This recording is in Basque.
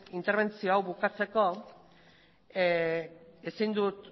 interbentzio hau bukatzeko ezin dut